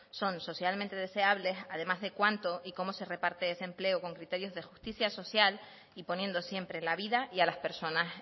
son socialmente deseables además de cuánto y cómo se reparte ese empleo con criterios de justicia social y poniendo siempre la vida y a las personas